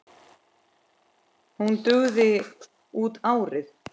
Hún dugi út árið.